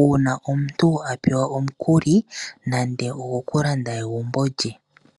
uuna omuntu apewa omukuli, nande ogo kulanda egumbo lye.